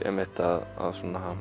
að